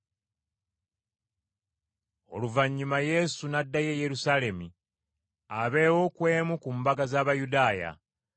Oluvannyuma Yesu n’addayo e Yerusaalemi abeewo ku emu ku mbaga z’Abayudaaya.